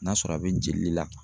N'a sɔrɔ a be jeli le la